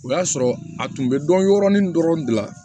O y'a sɔrɔ a tun bɛ dɔn yɔrɔnin dɔrɔn de la